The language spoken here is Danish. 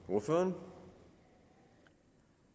i